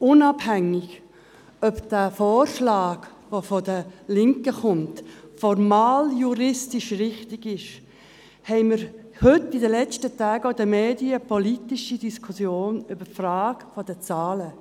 Unabhängig davon, ob dieser Vorschlag, der von den Linken kommt, formaljuristisch richtig ist, haben wir heute und in den letzten Tagen auch in den Medien eine politische Diskussion über die Frage der Zahlen.